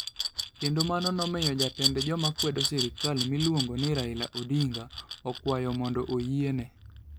Kendo mano nomiyo jatend joma kwedo sirkal miluongo ni Raila Odinga, okwayo mondo oyiene.